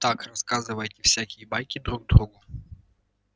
так рассказываете всякие байки друг другу